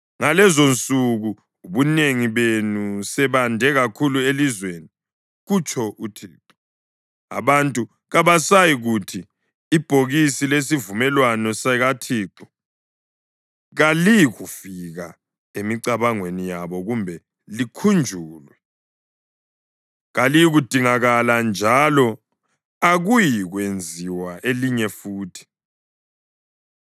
Ngalezonsuku, ubunengi benu sebande kakhulu elizweni,” kutsho uThixo, “abantu kabasayikuthi, ‘Ibhokisi lesivumelwano sikaThixo.’ Kaliyikufika emicabangweni yabo kumbe likhunjulwe; kaliyikudingakala, njalo akuyikwenziwa elinye futhi.